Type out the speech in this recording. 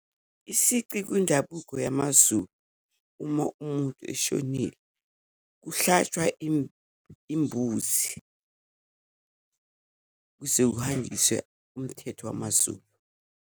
Isici kwindabuko yamaZulu uma umuntu eshonile, kuhlatshwa imbuzi kuze kuhanjiswe umthetho wamaZulu.